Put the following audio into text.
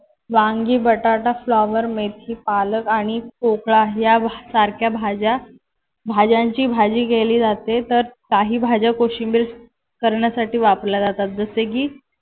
वांगी, बटाटा, फ्लावर, मेथी, पालक आणि पोकळा यासारख्या भाज्या भाज्यांची भाजी केली जाते. तर काही भाज्या कोशिंबिर करण्यासाठी वापरल्या जातात. जसे की